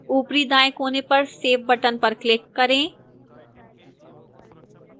ऊपरी दाएं कोने पर save button पर click करें